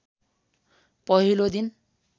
पहिलो दिन